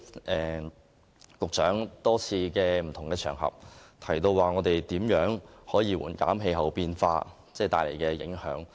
局長在多個場合提到，會致力紓緩氣候變化帶來的影響。